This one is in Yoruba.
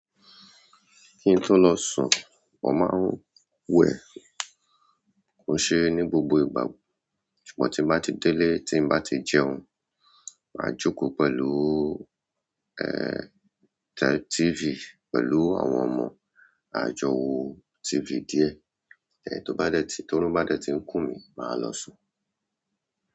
Kí ń tó lọ sùn, mo máa ń wẹ̀, kò ṣe ní gbogbo ìgbà ṣùgbọ́n ti bá ti délé tí ń bá ti jẹun. Máa jókòó pẹ̀lú, ẹ́, t-TV pẹ̀lú àwọn ọmọ, a jọ wo TV díẹ̀, lẹ́ẹ̀ tí ó bá dẹ̀ ti tóru bá dẹ̀ ti ń kùn mí, màá lọ sùn.